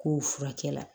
K'o furakɛ la